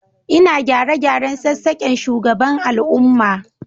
Ina gyare-gyaren sassaken shugaban al'umma